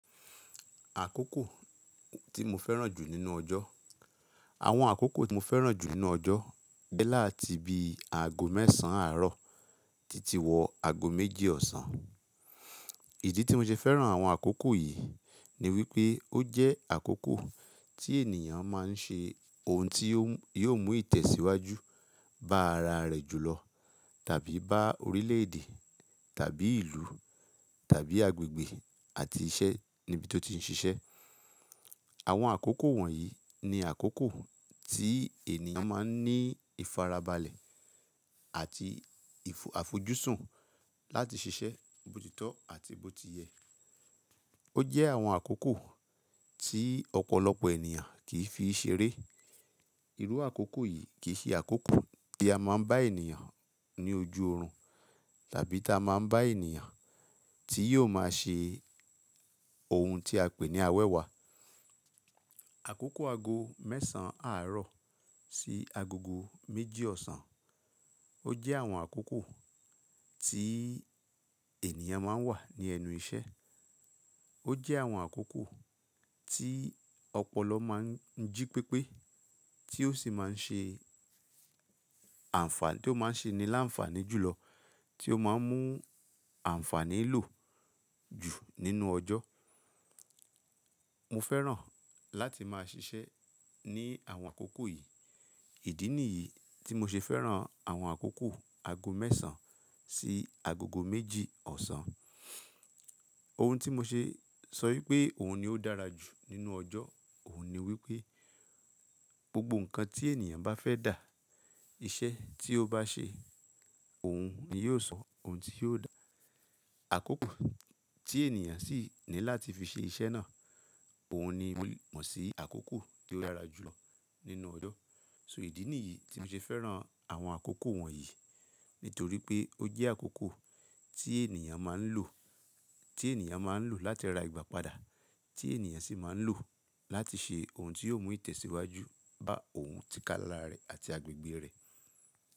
Àkókò tí mo fẹ́ràn jù nínú ọjọ́, àwọn àkókò tí mo fẹ́ràn jù nínú ọjọ́ dẹ láti ibi aago mẹ́sàn-án àárọ̀ títí wọ aago méjì ọ̀sán. Ìdí tí mo ṣe fẹ́ràn àwọn àkókò yìí ni wípé ó jẹ́ àkókò tí ènìyàn máa ń ṣe ohun tí yóò mú ìtẹ̀síwájú bá ara rẹ̀ jùlọ tàbí bá orílẹ̀èdè tàbí ìlú tàbí agbègbè àti iṣẹ́ níbi tó ti ń ṣiṣẹ́. Àwọn àkókò wọ̀nyí ni àkókò tí ènìyàn máa ń ní ìfarabalẹ̀ àti àfojúsùn láti ṣiṣẹ́ bòtìtọ́ àti bòtìyẹ. Ó jẹ́ àwọn àkókò tí ọ̀pọ̀lọpọ̀ ènìyàn kì í fi ṣeré. Irú àkókò yìí kì í ṣe àkókò tí a máa ń bá ènìyàn ní ojú orun tàbí tí a máa ń bá ènìyàn tí yóò máa ṣe ohun tí a pè ní awẹ́wà. Àkókò aago mẹ́sàn-án àárọ̀ sí agogo méjì ọ̀sán, ó jẹ́ àwọn àkókò tí ènìyàn mo ń wà ní ẹnu iṣẹ́. Ó jẹ́ àwọn àkókò tí ọ̀pọ̀lọ mo ń jí pépé tí ó sì máa ń ṣe àǹfàní, tí ó máa ṣe ni láǹfàní jùlọ, tí ó máa ń mú àǹfàní lò jù nínú ọjọ́. Mo fẹ́ràn láti máa ṣiṣẹ́ ní àwọn àkókò yìí. Ìdí nìyí tí mo ṣe fẹ́ràn àwọn àkókò aago mẹ́sàn-án sí aago méjì ọ̀sán. Ohun tí mo ṣe sọ wípé òun ni ó dára jù nínú ọjọ́ òun ni wípé gbogbo nǹkan tí ènìyàn bá fẹ́ dà, iṣẹ́ tí ó bá ṣe, òun ni yóò sọ ohun tí yóò dà. Àkókò tí ènìyàn sì ní láti fi ṣe iṣẹ́ náà, òun ni wọ́n sì àkókò tó dára jùlọ nínú ọjọ́. So ìdí nìyí tí mo ṣe fẹ́ràn àwọn àkókò wọ̀nyí nítorí pé ó jẹ́ àkókò tí ènìyàn máa ń lò, tí ènìyàn máa ń lò láti ra ìgbà padà, tí ènìyàn sì máa ń lò láti ṣe ohun tí yóò mú ìtẹ̀síwájú bá òun tí kálá rẹ̀ àti agbègbè rẹ̀.